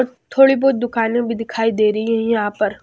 और थोड़ी बहुत दुकानें भी दिखाई दे रही है यहां पर--